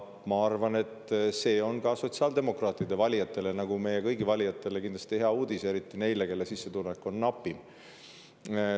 Ma arvan, et see on ka sotsiaaldemokraatide valijatele, nagu meie kõigi valijatele, hea uudis, eriti neile, kelle sissetulek on napim.